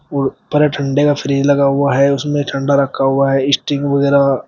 उड़ पर ठंडे का फ्रिज लगा हुआ है। उसमें ठंडा रखा हुआ है स्टिंग वगैरह।